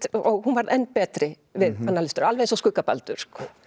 og hún varð enn betri við annan lestur alveg eins og skugga Baldur